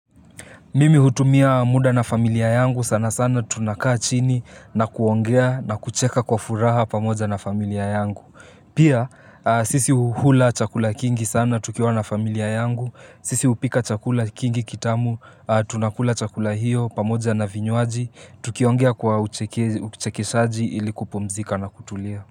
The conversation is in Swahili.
Mimi hutumia muda na familia yangu sana sana tunakaa chini na kuongea na kucheka kwa furaha pamoja na familia yangu. Pia sisi uhula chakula kingi sana tukiwa na familia yangu, sisi hupika chakula kingi kitamu, tunakula chakula hiyo pamoja na vinywaji, tukiongea kwa uchekeshaji ili kupumzika na kutulia.